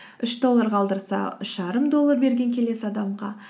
үш доллар қалдырса үш жарым доллар берген келесі адамға